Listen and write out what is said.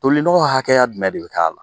Toli nɔgɔ hakɛya dumɛn de bi k'a la ?